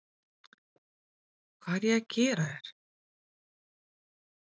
Hvað er ég að gera hér?